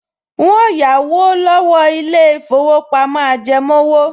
N óò yáwó lọ́wọ́ ilé-ìfowópamọ́ ajẹmówò